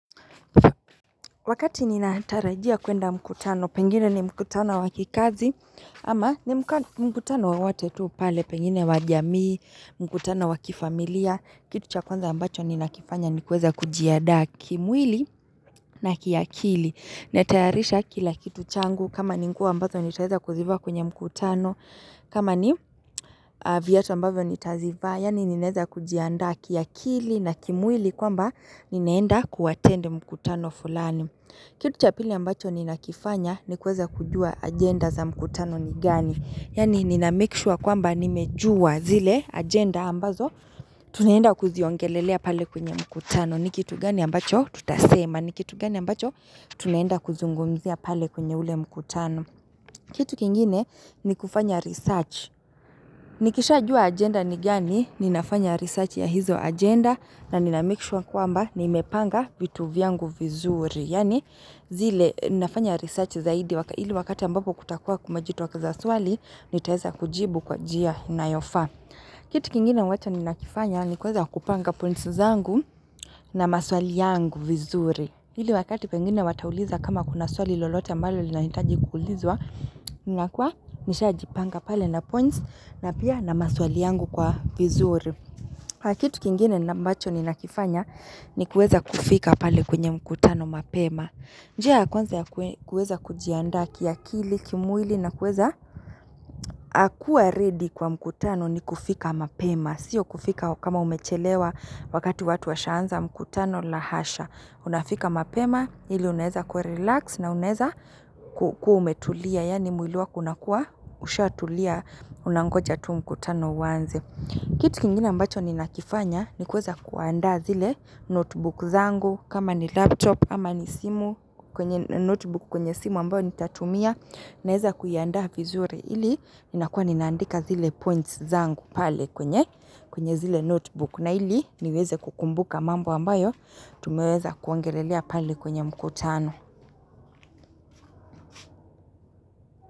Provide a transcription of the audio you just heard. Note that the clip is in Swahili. Wakati nina tarajia kwenda mkutano, pengine ni mkutano wakikazi, ama ni mkutano wowote tuu pale, pengine wajamii, mkutano wakifamilia, kitu cha kwanza ambacho ni nakifanya ni kuweza kujiadaa kimwili na kiakili. Natayarisha kila kitu changu, kama ni nguo ambazo ni taweza kuzivaa kwenye mkutano, kama ni viatu ambavyo nitazivaa, yani ninaweza kujiandaa kiakili na kimwili kwamba ninaenda kuatend mkutano fulani. Kitu cha pili ambacho ni nakifanya ni kuweza kujua agenda za mkutano ni gani. Yani ninamakesure kwamba nimejua zile agenda ambazo tunaenda kuziongelelea pale kwenye mkutano. Nikitu gani ambacho tutasema. Nikitu gani ambacho tunaenda kuzungumzia pale kwenye ule mkutano. Kitu kingine ni kufanya research. Nikisha jua agenda ni gani ni nafanya research ya hizo agenda na ninamakesure kwamba nimepanga vitu vyangu vizuri. Yani zile ninafanya research zaidi ili wakati ambapo kutakua kumejitokeza swali nitaweza kujibu kwa njia inayofaa. Kitu kingine ambacho ni nakifanya ni kuweza kupanga points zangu na maswali yangu vizuri. Ili wakati pengine watauliza kama kuna swali lolote ambalo linahitaji kuulizwa nina kuwa nisha jipanga pale nina points na pia na maswali yangu kwa vizuri. Kitu kingine mbacho nina kifanya ni kuweza kufika pale kwenye mkutano mapema. Njia ya kwanza ya kuweza kujianda kiakili kimwili na kuweza kuwa ready kwa mkutano ni kufika mapema. Sio kufika kama umechelewa wakati watu washaanza mkutano lahasha. Unafika mapema ili unaweza kuwa relax na unaweza kuwa umetulia. Yani mwiliwako unakuwa ushatulia unangoja tu mkutano uanze. Kitu kingina mbacho ni nakifanya ni kuweza kuandaa zile notebook zangu. Kama ni laptop ama ni notebook kwenye simu ambayo ni tatumia Naweza kuiandaa vizuri hili ninakua ninaandika zile points zangu pale kwenye zile notebook na hili niweze kukumbuka mambo ambayo Tumeweza kuongelelea pale kwenye mkutano.